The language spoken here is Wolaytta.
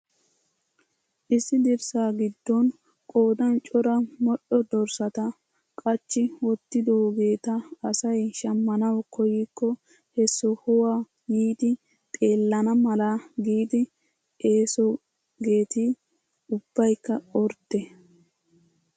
Issi dirssa giddon qoodan cora modhdho dorssata qachchi wottidoogeta asay shammanawu koykko he sohuwaa yiidi xeellana mala giidi essoogeti ubbaykka ordde!